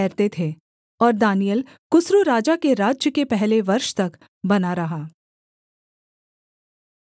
और दानिय्येल कुस्रू राजा के राज्य के पहले वर्ष तक बना रहा